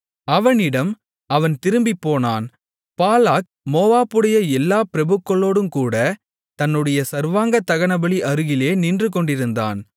அவனிடம் அவன் திரும்பிப்போனான் பாலாக் மோவாபுடைய எல்லா பிரபுக்களோடுங்கூட தன்னுடைய சர்வாங்கதகனபலி அருகிலே நின்று கொண்டிருந்தான்